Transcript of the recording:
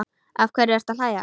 Af hverju ertu að hlæja?